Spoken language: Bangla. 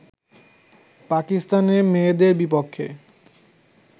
পাকিস্তানের মেয়েদের বিপক্ষে